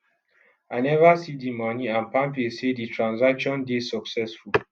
i neva see di money and palmpay say di transcation dey successful